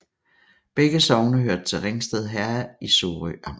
Begge sogne hørte til Ringsted Herred i Sorø Amt